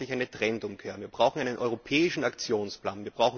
Wir brauchen endlich eine Trendumkehr. Wir brauchen einen europäischen Aktionsplan.